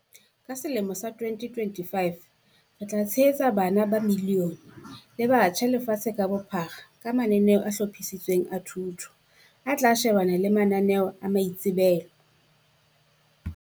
"Ka selemo sa 2025, re tla tshehetsa bana ba milione le batjha lefatsheng ka bophara ka mananeo a hlophisitsweng a thuto, a tla shebana le mananeo a maitsebelo."